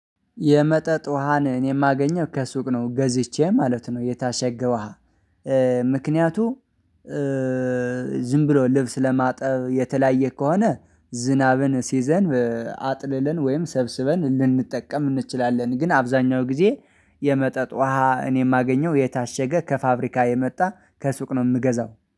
የመጠጥ ውሃን እኔ የማገኘው ከሱቅ ነው ገዝቼ ማለት ነው የታሸገው ውሃ። ምክንያቱ ዝም ብሎ ልብስ ለማጠብ የተለያየ ከሆነ ዝናብን ሲዘንብ ወይም ሰብስበን ልንጠቀም እንችላለን። ግን አብዛኛው ጊዜ የመጠጥ ውሃ እኔ የማገኘው የታሸገ ከፋብሪካ የመጣ ከሱቅ ነው የምገዛው